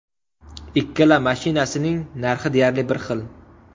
Ikkala mashinasining narxi deyarli bir xil.